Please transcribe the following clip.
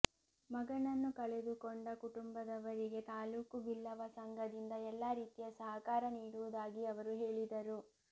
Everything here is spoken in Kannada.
ಮಗನನ್ನು ಕಳೆದುಕೊಂಡ ಕುಟುಂಬದವರಿಗೆ ತಾಲೂಕು ಬಿಲ್ಲವ ಸಂಘದಿಂದ ಎಲ್ಲಾ ರೀತಿಯ ಸಹಕಾರ ನೀಡುವುದಾಗಿ ಅವರು ಹೇಳಿದರು